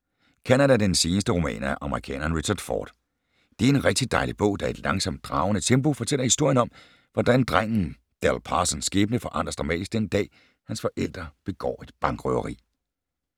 Canada er den seneste roman af amerikaneren Richard Ford. Det er en rigtig dejlig bog, der i et langsomt, dragende tempo fortæller historien om, hvordan drengen Dell Parsons skæbne forandres dramatisk den dag, hans forældre begår et bankrøveri.